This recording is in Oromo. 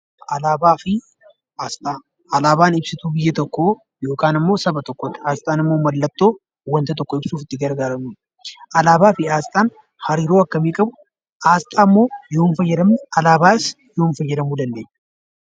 Alaabaa fi asxaa. Alaabaan ibsituu biyya tokko yookaan immoo saba tokkotti. Asxaan immoo maallatoo wanta tokko ibsuuf itti gargaramnudha. Alaabaa fi asxaan hariiroo akkami qabu, asxaa moo yoom faayadamu, alaabaas yoom faayadamuu dandeenya?